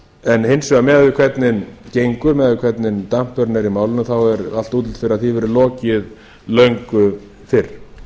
en hins vegar miðað við hvernig gengur miðað við hvernig dampurinn er í málinu þá er allt útlit fyrir að því verði lokið löngu fyrr